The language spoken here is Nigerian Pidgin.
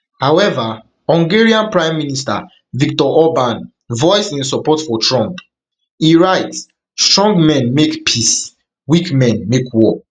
however hungarian prime minister viktor orban voice im support for trump e write strong men make peace weak men make war